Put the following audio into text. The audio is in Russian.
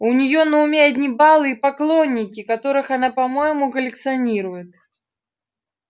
у неё на уме одни балы и поклонники которых она по-моему коллекционирует